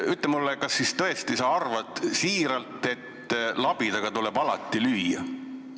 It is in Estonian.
Kas sa tõesti arvad siiralt, et alati tuleb labidaga lüüa?